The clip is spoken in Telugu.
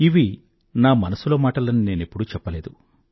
ఇవి నా మనసులో మాటలని నేనెప్పుడూ చెప్పలేదు